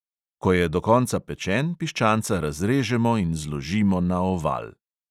Ko je do konca pečen, piščanca razrežemo in zložimo na oval.